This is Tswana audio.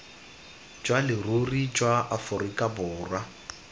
jwa leruri jwa aforika borwa